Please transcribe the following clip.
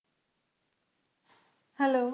Hello